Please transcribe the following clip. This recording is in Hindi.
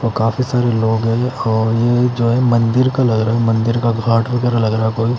और काफी सारे लोग हैं और ये जो है मंदिर का लग रहा है मंदिर का घाट वगेरा लग रहा है कोई --